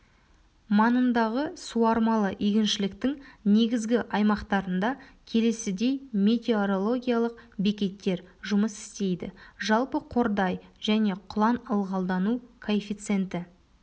маңындағы суармалы егіншіліктің негізгі аймақтарында келесідей метеорологиялық бекеттер жұмыс істейді жамбыл қордай және құлан ылғалдану коэффициенті